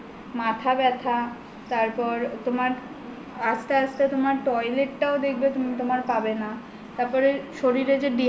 মাথা ব্যথা তারপর তোমার আসতে আসতে তোমার toilet টাও দেখবে তোমার পাবে না তারপর শরীরে যে